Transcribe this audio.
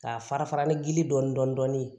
K'a fara fara ni gili dɔɔnin dɔɔnin ye